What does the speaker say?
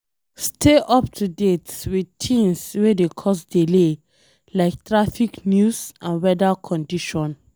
Stay up to date with things wey dey cause delay like traffic news and weather condition